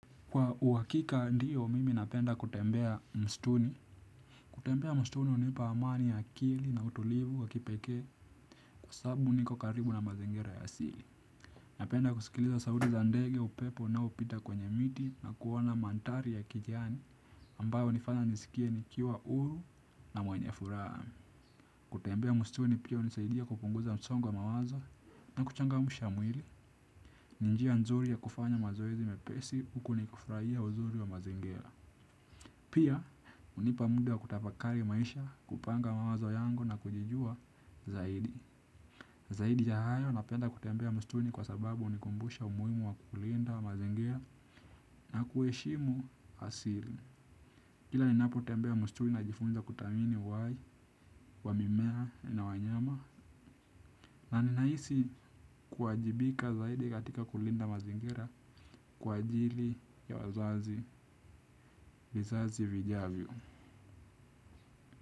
Kwa uhakika ndio mimi napenda kutembea msituni. Kutembea msituni hunipa amani ya akili na utulivu wa kipekee kwa sababu niko karibu na mazingira ya asili. Napenda kusikiliza sauti za ndege upepo unaoupita kwenye miti na kuona mandhari ya kijani ambayo hunifanya nisikie nikiwa huru na mwenye furaha. Kutembea msituni pia hunisaidia kupunguza msonguo wa mawazo na kuchangamsha mwili. Ni njia nzuri ya kufanya mazoezi mepesi huku nikifurahia uzuri wa mazingira. Pia, hunipa muda wa kutafakari maisha, kupanga mawazo yangu na kujijua zaidi. Zaidi ya hayo napenda kutembea msituini kwa sababu hunikumbusha umuhimu wa kulinda mazingira na kuheshimu asili. Kila ninapotembea msituni najifunza kuthamini uhai, wa mimea na wanyama na ninahisi kuwajibika zaidi katika kulinda mazingira kwa ajili ya wazazi vizazi vijavyo.